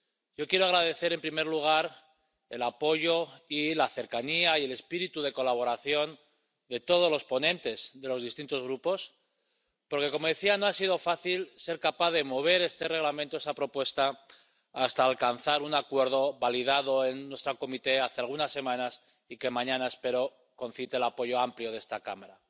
Yo quiero agradecer, en primer lugar, el apoyo y la cercanía y el espíritu de colaboración de todos los ponentes de los distintos grupos, porque, como decía, no ha sido fácil poder mover esta propuesta de Reglamento hasta alcanzar un acuerdo, validado en nuestra comisión hace algunas semanas y que mañana espero que concite el apoyo amplio de esta Cámara.